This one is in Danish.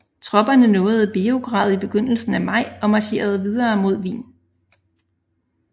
Tropperne nåede Beograd i begyndelsen af maj og marcherede videre mod Wien